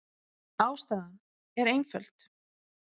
Ástæðan er einföld.